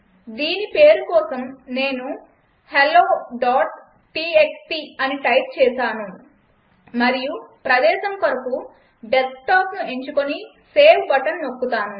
దీని పేరు కోసం నేను helloటీఎక్స్టీ అని టైప్ చేస్తాను మరియు ప్రదేశం కొరకు డెస్క్టాప్ను ఎంచుకొని సేవ్ బటన్ నొక్కుతాను